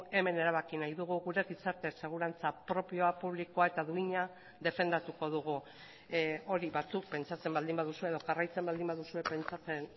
hemen erabaki nahi dugu gure gizarte segurantza propioa publikoa eta duina defendatuko dugu hori batzuk pentsatzen baldin baduzue edo jarraitzen baldin baduzue pentsatzen